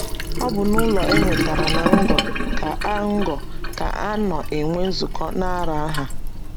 Ọ bụ n’ụlọ e nwetara ná ngo ka a ngo ka a nọ enwe nzukọ n’Aranha.